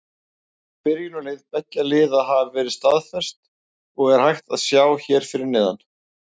Byrjunarlið beggja liða hafa verið staðfest og er hægt að sjá hér fyrir neðan.